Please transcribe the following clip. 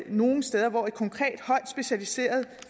nogle steder hvor et konkret højt specialiseret